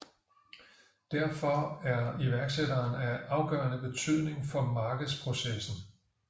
Derfor er iværksætteren af afgørende betydning for markedsprocessen